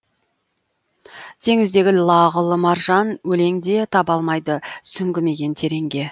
теңіздегі лағыл маржан өлең де таба алмайды сүңгімеген тереңге